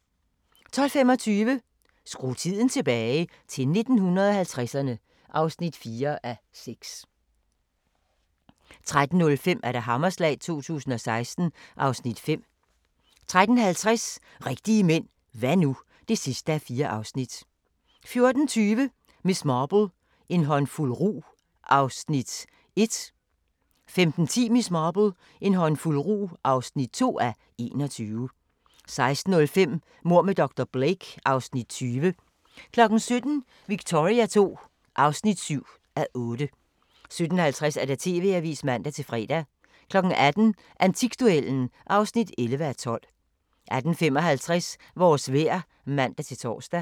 12:25: Skru tiden tilbage – til 1950'erne (4:6) 13:05: Hammerslag 2016 (Afs. 5) 13:50: Rigtige mænd – hva' nu? (4:4) 14:20: Miss Marple: En håndfuld rug (1:21) 15:10: Miss Marple: En håndfuld rug (2:21) 16:05: Mord med dr. Blake (Afs. 20) 17:00: Victoria II (7:8) 17:50: TV-avisen (man-fre) 18:00: Antikduellen (11:12) 18:55: Vores vejr (man-tor)